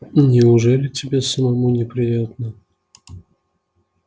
неужели тебе самому не приятно